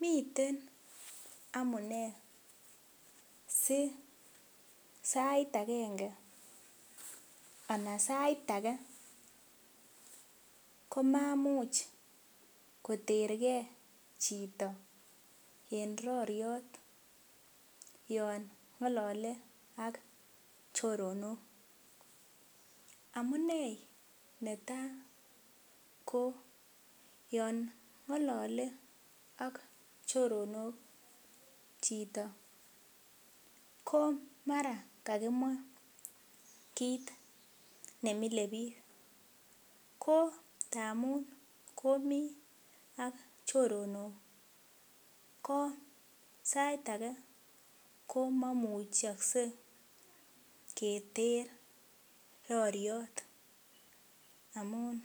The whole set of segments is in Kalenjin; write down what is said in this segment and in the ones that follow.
Miten amune si sait agenge ana sait age komamuch koterge chito en roriot yon ngalale ak choronok. Amunei netai ko yon ngalole ak choronok chito komara kakimwa kit ne mile biik. Kotamun komi ak choronok ko sait age komamukakse keter roriot amun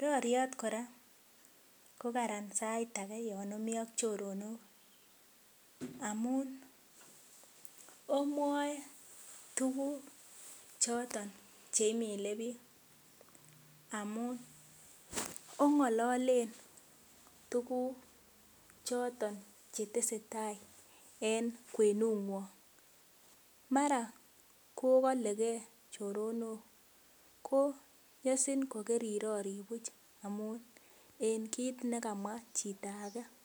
roriot kora kokararan sait age yon omi ak chorok amun omwae tuguk choton che mile biik amun ongalalen tuguk choton cheteseta en kwenungwong. Mara kokalege choronok, ko nyasin ko karirori buch amun en kit nekamwa chito age.